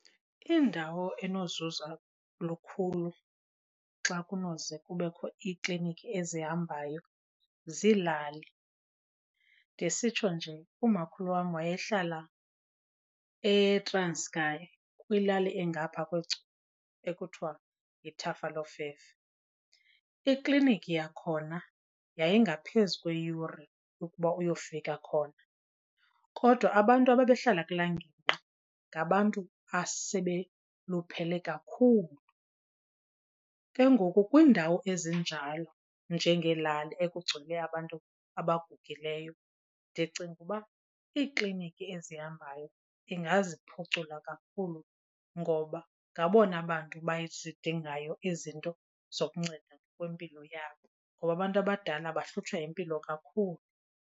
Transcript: Indawo enozuza lukhulu xa kunoze kubekho iikliniki ezihambayo ziilali. Ndisitsho nje umakhulu wam waye hlala eTranskei, kwilali engaphaa kweGcuwa ekuthiwa yiThafalofefe. Ikliniki yakhona yayingaphezu kweeyure ukuba uyofika khona kodwa abantu ababehlala kulaa ngingqi ngabantu asebeluphele kakhulu. Ke ngoku kwiindawo ezinjalo njengeelali ekugcwele abantu abagugileyo, ndicinga uba iikliniki ezihambayo ingaziphucula kakhulu ngoba ngabona bantu bazidingayo ezi zinto zokunceda kwimpilo yabo ngoba abantu abadala bahlutshwa yimpilo kakhulu.